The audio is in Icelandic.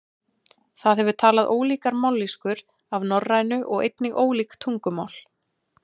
Það hefur talað ólíkar mállýskur af norrænu og einnig ólík tungumál.